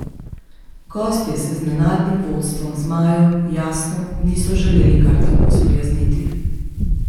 Gostje se z nenadnim vodstvom zmajev, jasno, niso želeli kar tako sprijazniti.